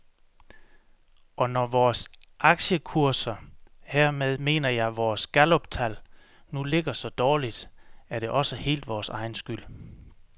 Og når vores aktiekurser, hermed mener jeg vores galluptal, nu ligger så dårligt, er det også helt vores egen skyld.